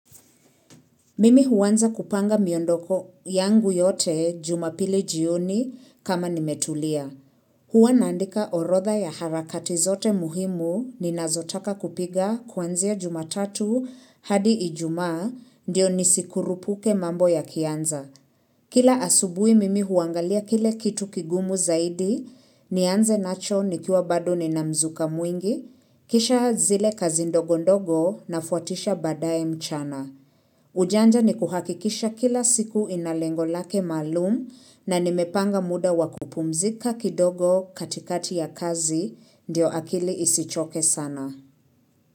Mimi huanza kupanga miondoko yangu yote jumapili jioni kama nimetulia. Hua naandika orodha ya harakati zote muhimu ninazotaka kupiga kuanzia jumatatu hadi ijumaa ndio nisikurupuke mambo yakianza. Kila asubui mimi huangalia kile kitu kigumu zaidi nianze nacho nikiwa bado nina mzuka mwingi, kisha zile kazi ndogondogo nafuatisha badaye mchana. Ujanja ni kuhakikisha kila siku ina lengo lake maalum na nimepanga muda wa kupumzika kidogo katikati ya kazi diyo akili isichoke sana.